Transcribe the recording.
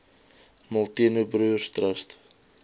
molteno broers trust